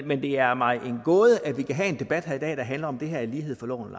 men det er mig en gåde at vi kan have en debat her i dag der handler om hvorvidt det her er lighed for loven